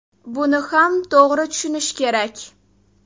Buni ham to‘g‘ri tushunish kerak.